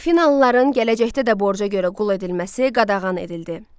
Afinalıların gələcəkdə də borca görə qul edilməsi qadağan edildi.